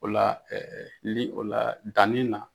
O la, li o la danni na.